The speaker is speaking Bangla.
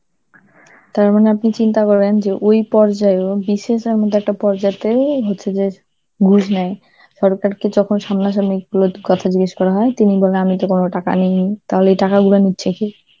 তার মানে আপনি চিন্তা করেন যে ওই পর্যায়, এবং BCS এর মতন একটা পর্যাতেই হচ্ছে ঘুষ নেয় সরকারকে যখন সামনাসামনি গুলোতে কথা জিজ্ঞাসা করা হয়, তিনি বলে আমি তো তোমার টাকা নিনি, তাহলে এই টাকাগুলো নিচ্ছে কে?